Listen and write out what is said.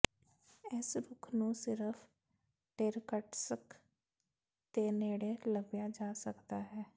ਇਸ ਰੁੱਖ ਨੂੰ ਸਿਰਫ ਇਰ੍ਕ੍ਟ੍ਸ੍ਕ ਦੇ ਨੇੜੇ ਲੱਭਿਆ ਜਾ ਸਕਦਾ ਹੈ